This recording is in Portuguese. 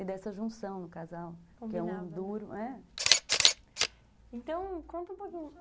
E dessa junção no casal, que é um duro... Então, conta um pouquinho...